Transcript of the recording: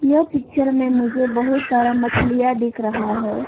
यह पिक्चर में मुझे बहुत सारा मछलियां दिख रहा है।